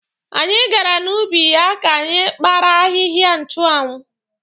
Anyị gara n'ubi ya ka anyị kpara ahịhịa nchụanwụ.